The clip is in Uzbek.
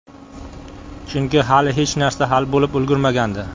Chunki hali hech narsa hal bo‘lib ulgurmagandi.